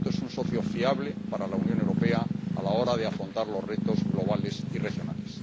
Por lo tanto, es un socio fiable para la Unión Europea a la hora de afrontar los retos globales y regionales.